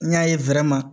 N y'a ye